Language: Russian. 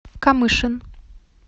камышин